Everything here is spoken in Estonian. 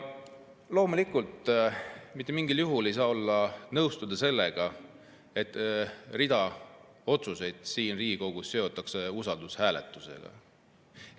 Muidugi ei saa mitte mingil juhul nõustuda sellega, et rida otsuseid siin Riigikogus seotakse usaldushääletusega.